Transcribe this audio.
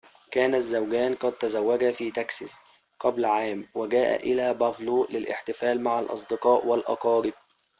كان الزوجان قد تزوجا في تكساس قبل عام وجاءا إلى بافالو للاحتفال مع الأصدقاء والأقارب